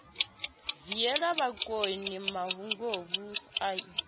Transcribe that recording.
viela bakoni mahunguvhu a i